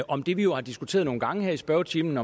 om det vi jo har diskuteret nogle gange her i spørgetimen